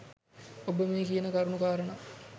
ඔබ මේ කියන කරුණු කාරණා